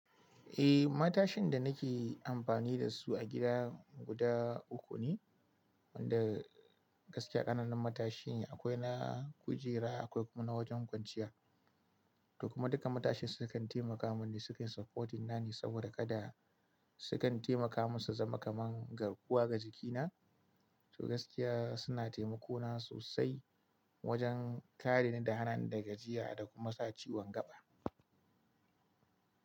Eh, matashin da nake amfani da su a gida guda uku ne, wanda gaskiya ƙananan matashin akwai na kujera, akwai kuma na wajen kwanciya. To kuma duka matashin sukan taimaka mini sukan supporting na ne saboda kada sukan taimaka musu zama kaman garkuwa ga jikina. To gaskiya suna taimako na sosai wajen kare ni da hana ni da gajiya da kuma sa ciwon gaɓa.